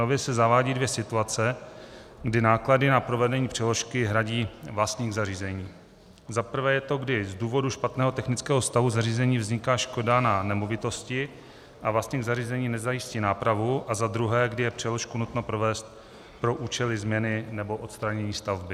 Nově se zavádí dvě situace, kdy náklady na provedení přeložky hradí vlastník zařízení: za prvé je to, když z důvodu špatného technického stavu zařízení vzniká škoda na nemovitosti a vlastník zařízení nezajistí nápravu, a za druhé, když je přeložku nutno provést pro účely změny nebo odstranění stavby.